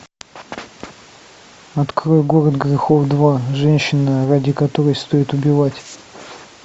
открой город грехов два женщина ради которой стоит убивать